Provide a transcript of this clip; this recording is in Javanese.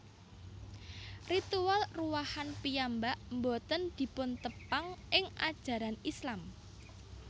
Ritual Ruwahan piyambak boten dipuntepang ing ajaran Islam